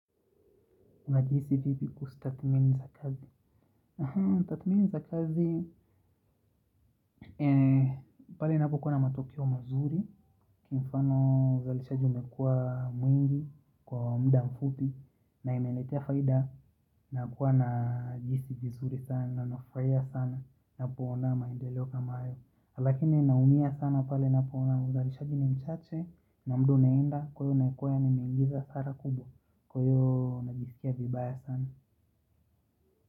Unajihisi vipi kustatimini za kazi? Tathmini za kazi, pale ninapokuwa na matokeo mazuri, kwa mfano uzalishaji umekua mwingi, kwa muda mfupi, na imeletea faida na kuwa na jinsi nzuri sana, nafurahia sana, ninapoona maendeleo kama hayo. Lakini naumia sana pale napoona uzalishaji ni mchache, na muda unaenda, kwa hio nakuwaa nimeingiza hasara kubwa, kwa hiyo najisikia vibaya sana.